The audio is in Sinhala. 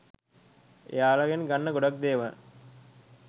එයාලගෙන් ගන්න ගොඩක් දේවල්